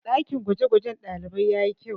ɗakin gwagwajen ɗalibai ya yi kyau